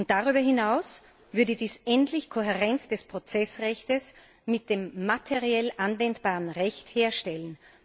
Darüber hinaus würde dies endlich Kohärenz des Prozessrechts mit dem materiell anwendbaren Recht herstellen.